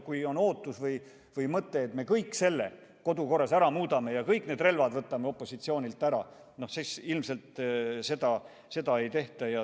Kui on ootus või mõte, et me kõik selle kodukorras ära muudame ja kõik need relvad opositsioonilt ära võtame, siis ilmselt seda ei tehta.